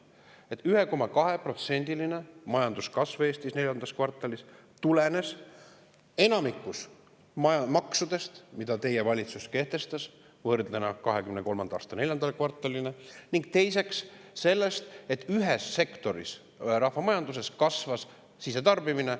Esiteks tulenes 1,2%-line majanduskasv Eestis IV kvartalis enamasti maksudest, mida teie valitsus kehtestas, võrreldes 2023. aasta IV kvartaliga, ning teiseks sellest, et ühes sektoris, rahvamajanduses, kasvas sisetarbimine.